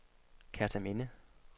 Kerteminde